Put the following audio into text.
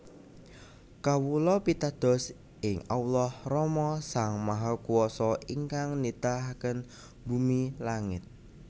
Kawula pitados ing Allah Rama Sang Mahakuwasa ingkang nitahaken bumi langit